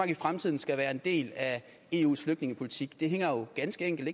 i fremtiden skal være en del af eus flygtningepolitik det hænger jo ganske enkelt